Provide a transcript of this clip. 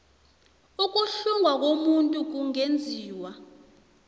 ukuhlungwa komuntu kungenziwa